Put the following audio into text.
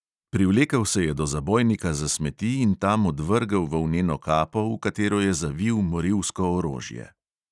Privlekel se je do zabojnika za smeti in tam odvrgel volneno kapo, v katero je zavil morilsko orožje.